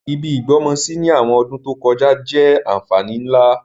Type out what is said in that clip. Ibi ìgbọ́mọsí ni àwọn ọdún to kojá jẹ́ ànfàní nlá.